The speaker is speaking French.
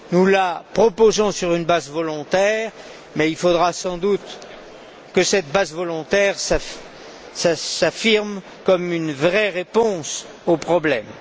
Nous la proposons sur une base volontaire, mais il faudra sans doute que cette base volontaire se concrétise comme une vraie réponse aux problèmes.